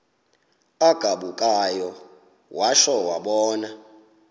agabukayo watsho wabona